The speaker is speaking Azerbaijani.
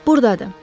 Burdadır.